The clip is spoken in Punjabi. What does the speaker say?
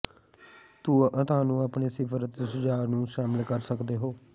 ਤੁਹਾਨੂੰ ਆਪਣੇ ਿਸਫ਼ਾਰ ਅਤੇ ਸੁਝਾਅ ਨੂੰ ਸ਼ਾਮਿਲ ਕਰ ਸਕਦੇ ਹੋ